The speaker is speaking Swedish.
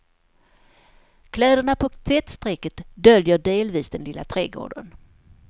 Kläderna på tvättstrecket döljer delvis den lilla trädgården.